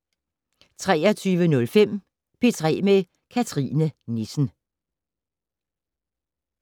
23:05: P3 med Cathrine Nissen